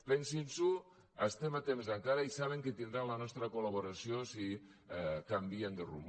pensin s’ho estem a temps encara i saben que tindran la nostra col·laboració si canvien de rumb